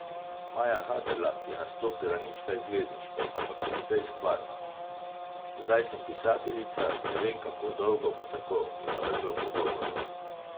Maja Haderlap je nastopila nič kaj zvezdniško, ampak precej stvarno: 'Zdaj sem pisateljica, ne vem, kako dolgo bo tako,' je navrgla v pogovoru.